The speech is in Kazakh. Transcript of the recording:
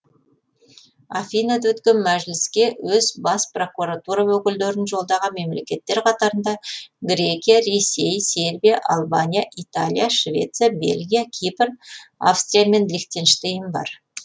афинада өткен мәжіліске өз бас прокуратура өкілдерін жолдаған мемлекеттер қатарында грекия ресей сербия албания италия швеция бельгия кипр австрия мен лихтенштейн бар